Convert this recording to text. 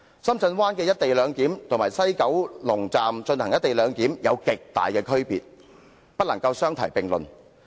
深圳灣的"一地兩檢"與西九龍站的"一地兩檢"有着極大的差別，不能相提並論。